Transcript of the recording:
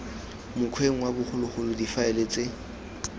mokgweng wa bogologolo difaele ts